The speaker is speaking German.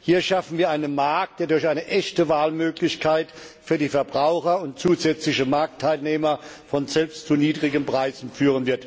Hier schaffen wir einen Markt, der durch eine echte Wahlmöglichkeit für die Verbraucher und durch zusätzliche Marktteilnehmer von selbst zu niedrigen Preisen führen wird.